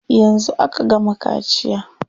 Yanzu aka gama kaciya.